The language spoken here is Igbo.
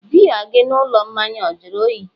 biya gị n'ụlọ mmanya a jụrụ oyi?